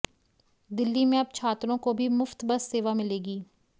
दिल्ली में अब छात्रों को भी मुफ्त बस सेवा मिलेगी